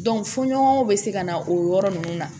fɔɲɔgɔn bɛ se ka na o yɔrɔ ninnu na